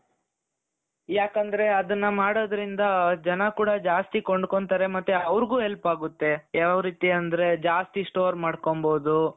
ಯಾಕಂದ್ರೆ ಅದುನ್ನ ಮಾಡೋದ್ರಿಂದ ಜನ ಕೂಡ ಜಾಸ್ತಿ ಕೊಂಡ್ಕೊಳ್ತಾರೆ ಮತ್ತೆ ಅವರಿಗೂ help ಆಗುತ್ತೆ ಯಾವ್ ರೀತಿ ಅಂದ್ರೆ ಜಾಸ್ತಿ store ಮಾಡ್ಕೊಣ್ಬಹುದು.